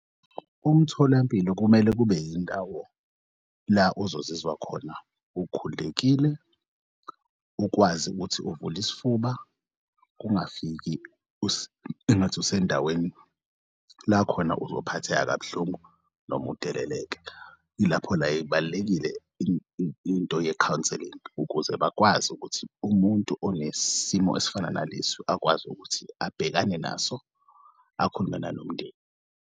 Umtholampilo kumele kube indawo la uzozizwa khona ukhululekile ukwazi ukuthi uvul'isifuba kungafiki engathi usendaweni la khona uzophatheka kabuhlungu noma udeleleke. Ilapho la ibalulekile into ye-counselling ukuze bakwazi ukuthi umuntu onesimo esifana nalesi akwazi ukuthi abhekane naso akhulume nanomndeni.